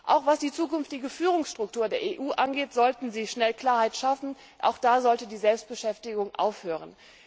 Auch was die zukünftige Führungsstruktur der EU angeht, sollten Sie schnell Klarheit schaffen, auch da sollte die Selbstbeschäftigung aufhören.